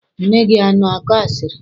Nne gị ana akọ asịrị?